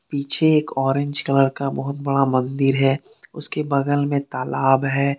पीछे एक orange colour का बहुत बड़ा मंदिर है उसके बगल में तालाब है।